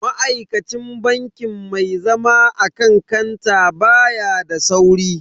Ma'aikacin bankin mai zama akan kanta baya da sauri.